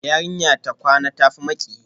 Yarinya ta kwana, ta tafi miki